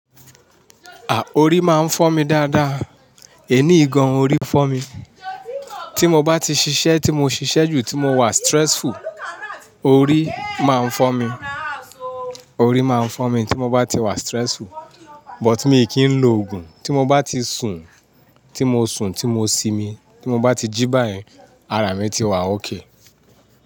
Orí máa ń fọ́ mi dáadáa. Èní ìgan, orí fọ́ mi. Tí mo bá ti ṣiṣẹ́, tí mo ṣiṣẹ́ jù, tí mo wà stressful, orí máa ń fọ́ mi. Orí máa ń fọ́ mi tí mo bá ti wà stressful. But mi kì í lo òògùn, tí mo bá ti sùn, tí mo sùn, tí mo simi, tí mo bá ti jí báyìí, ara mi ti wà okay.